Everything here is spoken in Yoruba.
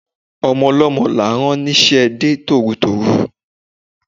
Ọmọ ọlọ́mọ là á rán ní iṣẹ́ de tòrutòru